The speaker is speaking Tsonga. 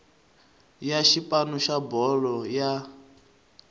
ya xipano xa bolo ya